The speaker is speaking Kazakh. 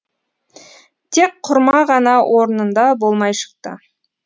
тек құрма ғана орнында болмай шықты